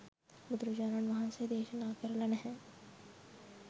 බුදුරජාණන් වහන්සේ දේශනා කරල නෑ.